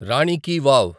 రాని కి వావ్